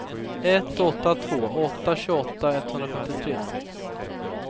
ett åtta två åtta tjugoåtta etthundrafemtiotre